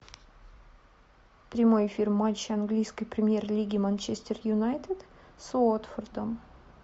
прямой эфир матча английской премьер лиги манчестер юнайтед с уотфордом